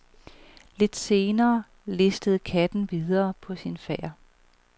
Lidt senere listede katten videre på sin færd.